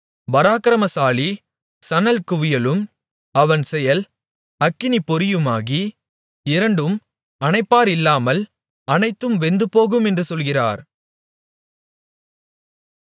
பராக்கிரமசாலி சணல்குவியலும் அவன் செயல் அக்கினிப்பொறியுமாகி இரண்டும் அணைப்பாரில்லாமல் அனைத்தும் வெந்துபோகும் என்று சொல்கிறார்